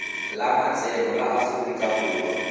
la matsalo la aforika borwa